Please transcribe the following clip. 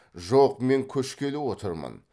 жоқ мен көшкелі отырмын